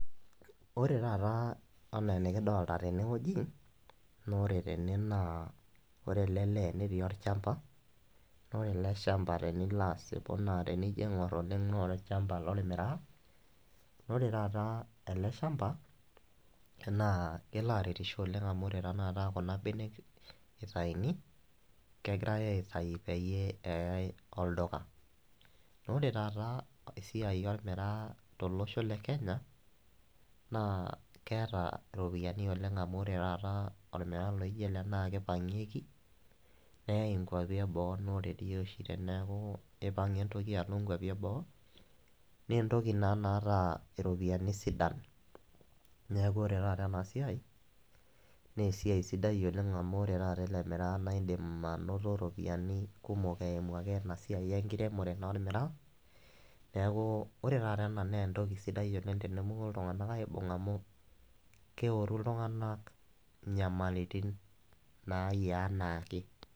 Ore taata enaa enikidolta tenewoji, nore tene naa ore ele lee netii olchamba, ore ele shamba ,nore ele shamba tenilo asipu naa tenijo aing'or oleng naa olchamba lormiraa, nore taata ele shamba, naa kelo aretisho oleng amu ore tanakata kuna benek naitayuni, kegirai aitayu peyie eyai olduka. Ore taata esiai ormiraa tolosho le Kenya, naa keeta iropiyiani oleng amu ore taata ormiraa laijo ele na kipang'ieki, neyai inkwapi eboo, nore dii oshi teneeku ipang'a entoki alo inkwapi eboo, nentoki naa naata iropiyiani sidan. Neeku ore taata enasiai, nesiai sidai oleng amu ore taata ele miraa na idim anoto ropiyaiani kumok eimu ake enasiai enkiremore ormiraa, neeku ore taata ena nentoki sidai oleng tenemoku iltung'anak aibung' amu keoru iltung'anak inyamalitin nayiaa enaake.